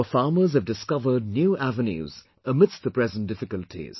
Our farmers have discovered new avenues amidst the present difficulties